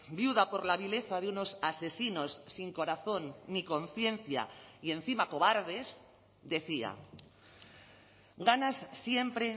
viuda por la vileza de unos asesinos sin corazón ni conciencia y encima cobardes decía ganas siempre